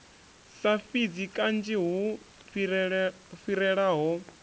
sa fhidzi kanzhi hu fhirelaho